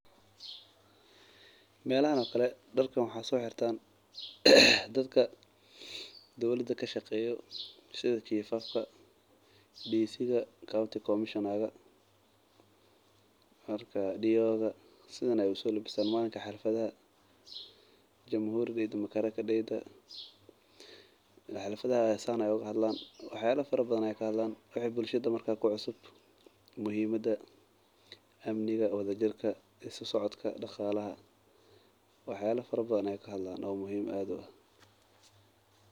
Meelahan oo kale, darkan waxa so xirtaan dadhka dowlada kashaqeeyo sidha chifafka, dicidha, county comishonaga, marka diodha sidhan ay u so labistan malinka xafladhaha; jamhuri daydha, madaraka daydha xafladhaha san ay oga hadlan wax yala fara badhan ay kahadlan, wixi bulshada markas ku cusub, muhiimadha, amniga, wadajirka sosocodka daqalaha wax yala fara badhan ay ka hadlan oo muhiim aad u ah.